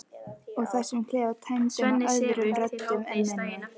Og þessum klefa tæmdum af öðrum röddum en minni.